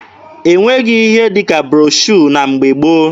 E nweghị ihe dị ka broshuọ na mgbe gboo.